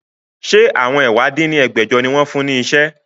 Ṣé àwọn ẹ̀wá dín ní ẹgbẹ́jọ ni wọn fún ní iṣẹ́?